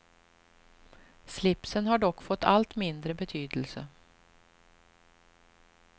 Slipsen har dock fått allt mindre betydelse.